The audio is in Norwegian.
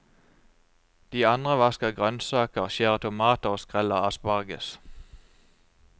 De andre vasker grønnsaker, skjærer tomater og skreller asparges.